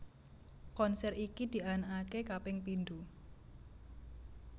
Konser iki dianakake kaping pindho